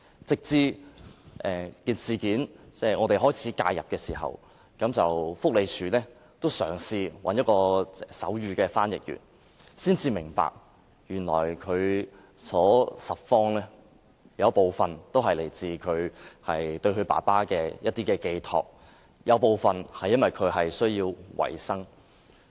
直到我們開始介入事件，社署便開始找手語翻譯員協助，才明白原來他拾荒的原因，部分是來自對於父親的寄託，而部分是因為他需要維持生計。